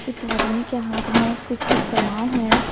कुछ आदमी के हाथ में कुछ कुछ सामान है।